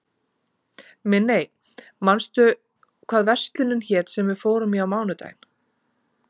Minney, manstu hvað verslunin hét sem við fórum í á mánudaginn?